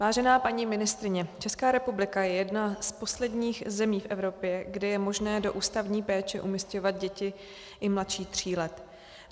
Vážená paní ministryně, Česká republika je jedna z posledních zemí v Evropě, kde je možné do ústavní péče umísťovat děti i mladší tří let.